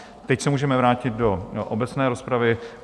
Teď se můžeme vrátit do obecné rozpravy.